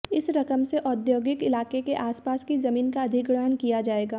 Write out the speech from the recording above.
इस रकम से औद्योगिक इलाके के आसपस की जमीन का अधिग्रहण किया जाएगा